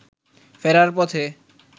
ফেরার পথে